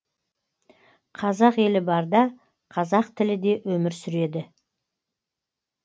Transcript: қазақ елі барда қазақ тілі де өмір сүреді